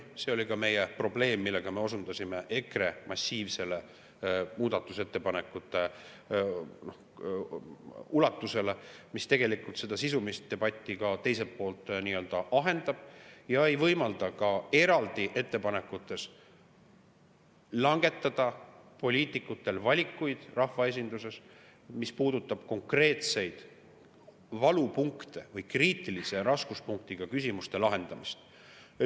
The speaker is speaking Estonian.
Ka meie ja osundasime EKRE muudatusettepanekute massiivsele, mis tegelikult sisulise debati teiselt poolt ahendab ega võimalda rahvaesindusel eraldi ettepanekute puhul langetada valikuid, mis puudutavad konkreetseid valupunkte või kriitilise raskuspunktiga küsimuste lahendamist.